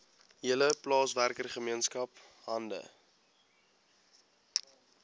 hele plaaswerkergemeenskap hande